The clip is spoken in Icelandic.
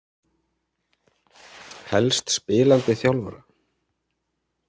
Helst spilandi þjálfara.